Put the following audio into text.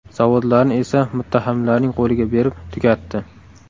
Zavodlarni esa muttahamlarning qo‘liga berib, tugatdi.